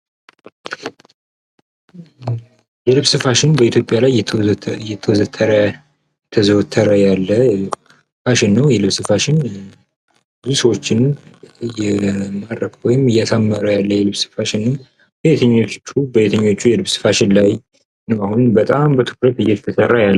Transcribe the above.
የልብስ ፋሽን በኢትዮጵያ ላይ እየተዘወተረ ያለ ፋሽን ነው። የልብስ ፋሽን ልብሶችን እያማረከ ወይም እያሳመረ ያለ ፋሽን ነው። በየትኞቹ የልብስ ፋሽን ላይ ነው አሁን በጣም በትኩረት እየተስራ ያለው?